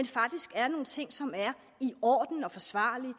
faktisk er nogle ting som er i orden og forsvarlige